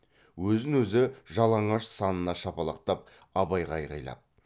өзін өзі жалаңаш санына шапалақтап абайға айқайлап